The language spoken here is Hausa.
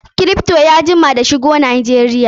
Kripto ya jima da shigo Najeriya.